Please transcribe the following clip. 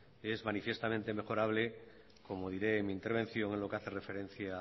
es manifiestamente mejorable como diré en mi intervención lo que hace referencia